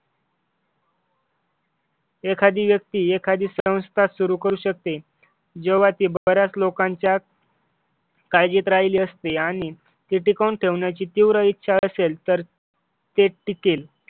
एखादी व्यक्ती एखादी संस्था सुरू करू शकते जेव्हा ती बऱ्याच लोकांच्या काळजी राहिली असती आणि हे टिकवून ठेवण्याची तीव्र इच्छा असेल तर ते टिकेल